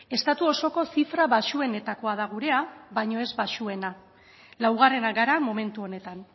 estatu osoko zifra baxuenetakoa da gurea baina ez baxuena laugarrenak gara momentu honetan